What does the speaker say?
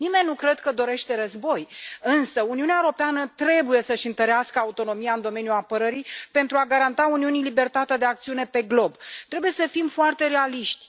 Nimeni nu cred că dorește război, însă Uniunea Europeană trebuie să își întărească autonomia în domeniul apărării, pentru a garanta Uniunii libertatea de acțiune pe glob. Trebuie să fim foarte realiști.